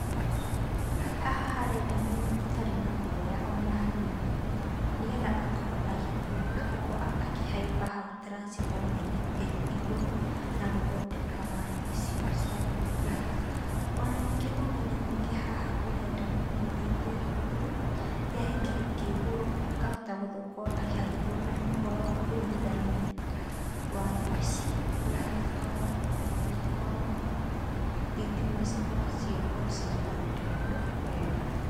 Haha harenda mũndũ ũtarĩ na guoya ona hanini, nĩgetha akorwo agĩthiĩ, gũkorwo akĩhaimba hau turaciboma-inĩ ĩyo igũrũ na gũthondeka waya icio cia thitima. Ona ningĩ ũmenyo ũngĩ haha ũrenda mũndũ ũthiĩte thukuru ya gĩkĩro kĩa igũrũ akahota gũkorwo agĩthomera ũhoro wa kũnyitithania waya ici, nĩgetha akorwo agĩkorwo thitima cikorwo cigĩkorwo cigĩthondekwo wega.